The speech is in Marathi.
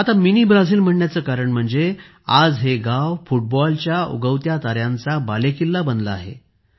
मिनी ब्राझील म्हणायचे कारण म्हणजे आज हे गाव फुटबॉलच्या उगवत्या ताऱ्यांचा बालेकिल्ला बनले आहे